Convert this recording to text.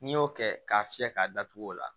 N'i y'o kɛ k'a fiyɛ k'a datugu o la